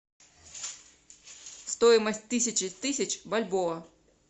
стоимость тысячи тысяч бальбоа